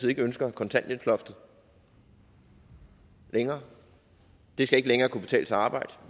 ikke ønsker kontanthjælpsloftet længere det skal ikke længere kunne betale sig at arbejde